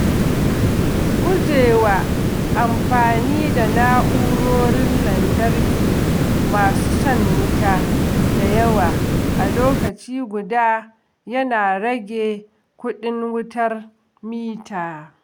Gujewa amfani da na’urorin lantarki masu shan wuta da yawa a lokaci guda yana rage kuɗin wutar mita.